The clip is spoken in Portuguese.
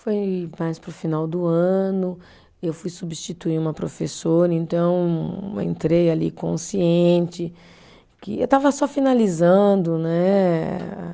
Foi mais para o final do ano, eu fui substituir uma professora, então entrei ali consciente, que eu estava só finalizando, né?